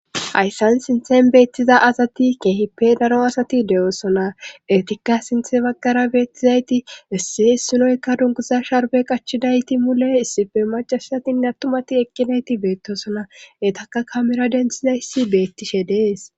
hayssan sinthen beettiza asati keehi pe daro asati de7oosona etikka sinthe baggara beettizayti essi ssinoyka dunkuza sharbe qachidayti mule issife macasatinne attumati eqqinayti beettosona etaka kamera denthiza issi beettishe dees